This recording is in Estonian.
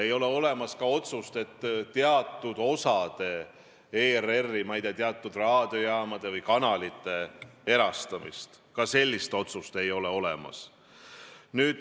Ei ole olemas ka otsust teatud ERR-i osade, teatud raadiojaamade või kanalite erastamise kohta, ka sellist otsust ei ole.